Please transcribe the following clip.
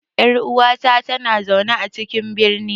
Yar uwata tana zaune a cikin birni.